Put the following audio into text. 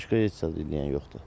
Başqa heç eləyən yoxdur.